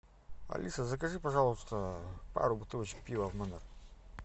алиса закажи пожалуйста пару бутылочек пива в номер